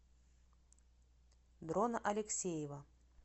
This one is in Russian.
дрона алексеева